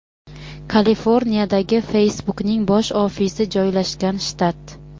Kaliforniyadagi (Facebook’ning bosh ofisi joylashgan shtat.